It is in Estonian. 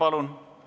Jaa, palun!